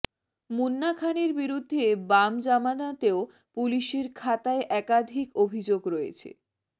মুন্না খানের বিরুদ্ধে বাম জামানাতেও পুলিসের খাতায় একাধিক অভিযোগ রয়েছে